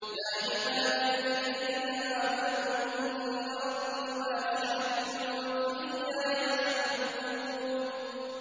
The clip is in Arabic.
يَا عِبَادِيَ الَّذِينَ آمَنُوا إِنَّ أَرْضِي وَاسِعَةٌ فَإِيَّايَ فَاعْبُدُونِ